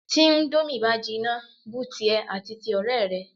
Tí íńdómì bá jinná bu tìẹ àti ti ọ̀rẹ́ rẹ.